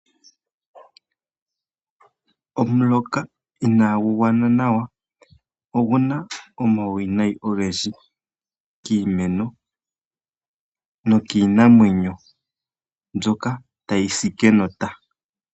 Omuloka inagu gwana nawa ogu na omauwinayi ogendji kiimeno nokiinamwenyo mbyoka tayi si lenota.